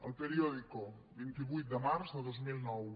el periódico vint vuit de març de dos mil nou